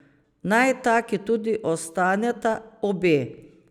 Naj taki tudi ostaneta, obe.